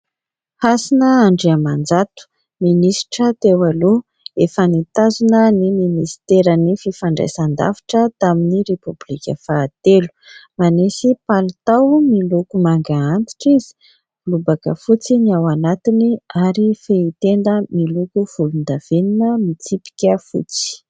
Hasina Andriamanjato, minisitra teo aloha, efa nitazona ny ministeran'ny fifandraisan-davitra tamin'ny Repoblika fahatelo, manisy palitao miloko manga antitra izy, lobaka fotsy ny ao anatiny ary fehi-tenda miloko volon-davenona mitsipika fotsy.